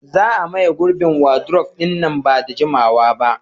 za a maye gurbin wadurof ɗin nan ba da jimawa ba